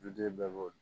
Duden bɛɛ b'o